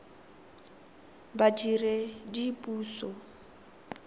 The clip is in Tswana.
badiredipuso